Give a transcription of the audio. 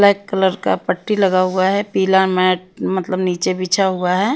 Black colour का पट्टी लगा हुआ है पीला मैट मतलब नीचे बिछा हुआ है।